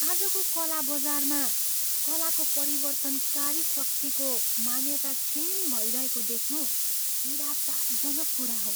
आजको कला बजारमा कलाको परिवर्तनकारी शक्तिको मान्यता क्षीण भइरहेको देख्नु निराशाजनक कुरा हो।